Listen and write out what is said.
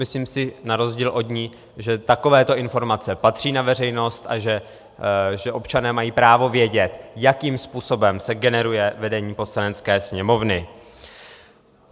Myslím si na rozdíl od ní, že takovéto informace patří na veřejnost a že občané mají právo vědět, jakým způsobem se generuje vedení Poslanecké sněmovny.